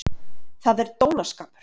Það er dónaskapur!